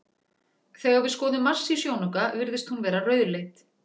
Þegar við skoðum Mars í sjónauka virðist hún vera rauðleit.